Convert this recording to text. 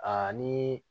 ni